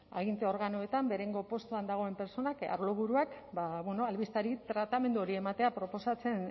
aginte organoetan beherengo postuetan dagoenak arloburuak albisteari tratamendu hori ematea proposatzen